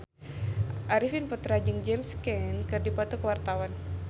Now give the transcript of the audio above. Arifin Putra jeung James Caan keur dipoto ku wartawan